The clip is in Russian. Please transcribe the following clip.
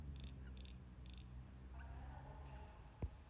оксана вострова